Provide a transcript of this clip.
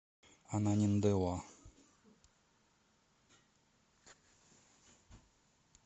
ананиндеуа